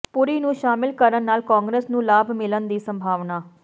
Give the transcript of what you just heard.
ਪੁਰੀ ਨੂੰ ਸ਼ਾਮਲ ਕਰਨ ਨਾਲ ਕਾਂਗਰਸ ਨੂੰ ਲਾਭ ਮਿਲਣ ਦੀ ਸੰਭਾਵਨਾ